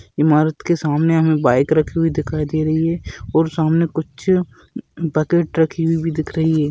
इमारत के सामने हमे बाइक रखी हुई दिखाई दे रही है और सामने कुछ बकेट रखी हुई भी दिख रही है।